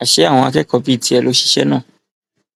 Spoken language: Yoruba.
àṣé àwọn akẹkọọ bíi tiẹ ló ṣiṣẹ náà